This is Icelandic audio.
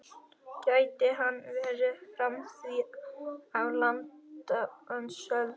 Gæti hann verið frá því á landnámsöld?